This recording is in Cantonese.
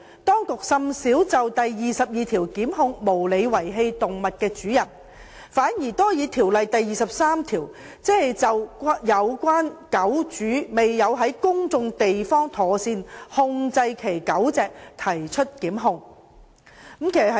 當局甚少引用該條文檢控無理遺棄動物的主人，反而較多引用《條例》第23條，就有關狗主未有在公眾地方妥善控制其狗隻，提出檢控。